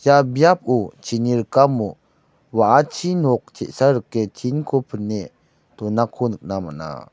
ia biapo chini rikamo wa·achi nok te·sa rike tinko pine donako nikna man·a.